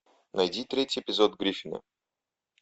найди третий эпизод гриффинов